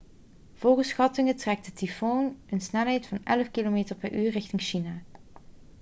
volgens schattingen trekt de tyfoon met een snelheid van 11 km/u richting china